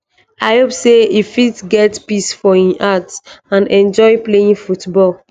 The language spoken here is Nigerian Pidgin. i hope say e fit get peace for im heart and enjoy playing football